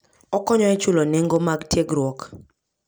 Okonyo e chulo nengo mar tiegruok.